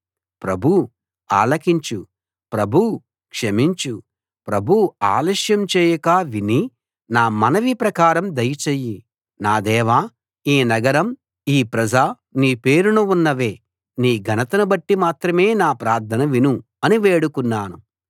ప్రభూ ఆలకించు ప్రభూ క్షమించు ప్రభూ ఆలస్యం చేయక విని నా మనవి ప్రకారం దయ చెయ్యి నా దేవా ఈ నగరం ఈ ప్రజ నీ పేరున ఉన్నవే నీ ఘనతను బట్టి మాత్రమే నా ప్రార్థన విను అని వేడుకున్నాను